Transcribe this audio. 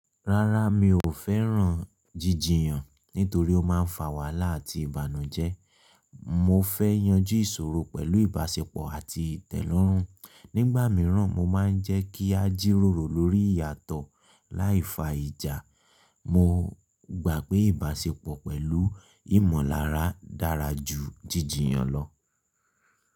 Rárá, mi ò fẹ́ràn jíjiyan nítorí ó máa ń fa wàhálà àti ìbànújẹ́. Mo fẹ́ yanjú ìṣòro pẹ̀lú ìbáṣepọ̀ àti ìtẹ́lọ́rùn. Nígbà mìíràn, o máa ń jẹ́ kí a jíròrò lórí ìyàtọ̀ láì fa ìjà. Mo gbà pé ìbáṣepọ̀ pẹ̀lú ìmọ̀lára dára ju jíjiyan lọ.